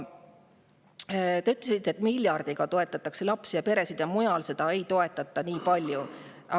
Te ütlesite, et miljardiga toetatakse lapsi ja peresid ja mujal neid nii palju ei toetata.